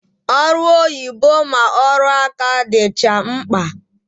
Ọrụ oyibo ma ọrụ aka dịcha mkpa